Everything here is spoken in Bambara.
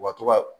U ka to ka